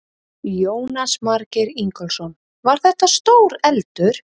Jónas Margeir Ingólfsson: Var þetta stór eldur?